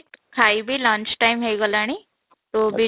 ଖାଇବି lunch time ହେଇଗଲାନି ତୁ ବି